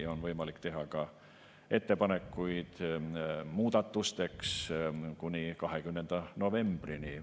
Ja on võimalik teha ka ettepanekuid muudatusteks kuni 20. novembrini.